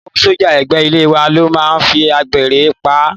Ìyàwó sọ́jà ẹ̀gbẹ́ ilé wa ló máa fi àgbèrè pa á.